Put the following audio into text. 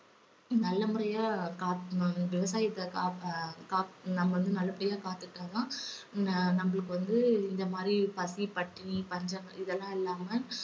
நல்ல முறையா காக்கணும்னு, விவசாயத்தை காக்க~ கா~ நம்ம வந்து நல்லபடியா காத்துகிட்டாதான் ந~ நம்மளுக்கு வந்து இந்த மாதிரி பசி பட்டினி பஞ்சம் இதெல்லாம் இல்லாம